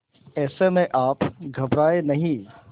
ऐसे में आप घबराएं नहीं